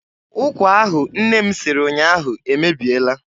Ụkwa ahụ nne m siri ụnyaahụ emebiela.